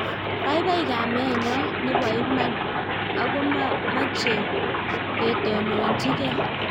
Paipai kameet nyoo neboo imana akomachee ketononochii gei